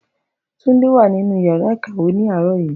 Tunde wà nínú yàrá ìkàwé ní àárọ̀ yìí